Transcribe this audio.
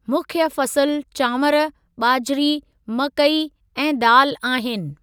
मुख्य फ़सुल चांवर, ॿाजरी, मकई ऐं दालि आहिनि।